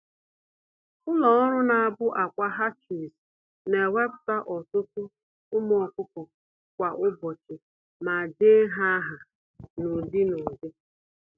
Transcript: Ụlọ-ọrụ-na-abụ-ákwà (hatcheries) newepụta ọtụtụ ụmụ ọkụkọ kwa ụbọchị, ma dee ha áhà n'ụdị-n'ụdị